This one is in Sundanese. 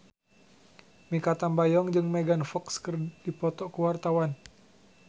Mikha Tambayong jeung Megan Fox keur dipoto ku wartawan